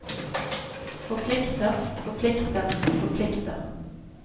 forplikter forplikter forplikter